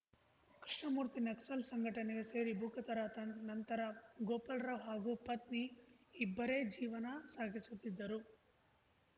ಕೃಷ್ಣಮೂರ್ತಿ ನಕ್ಸಲ್‌ ಸಂಘಟನೆಗೆ ಸೇರಿ ಭೂಗತರಾದ ನಂತರ ಗೋಪಾಲ್‌ರಾವ್‌ ಹಾಗೂ ಪತ್ನಿ ಇಬ್ಬರೇ ಜೀವನ ಸಾಗಿಸುತ್ತಿದ್ದರು